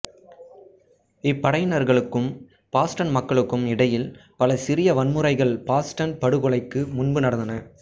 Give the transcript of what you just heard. இப்படையினர்களுக்கும் Boston மக்களுக்கும் இடையில் பல சிறிய வன்முறைகள் பாஸ்டன் படுகொலைக்கும் முன்பு நடந்தன